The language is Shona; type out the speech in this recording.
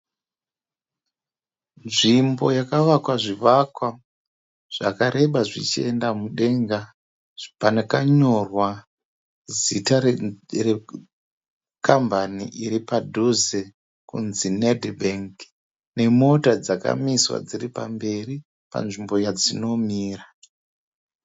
Nzvimbo yakavakwa zvivakwa zvakareba zvichienda mudenga. Pakanyorwa zita rekambani iripadhuze kunzi Neti bhengi. Nemota dzakamiswa dziripamberi panzvimbo yadzinomira.